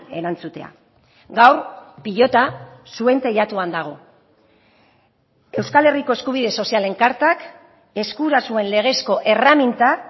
erantzutea gaur pilota zuen teilatuan dago euskal herriko eskubide sozialen kartak eskura zuen legezko erreminta